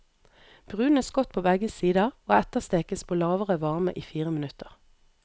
Brunes godt på begge sider, og etterstekes på lavere varme i fire minutter.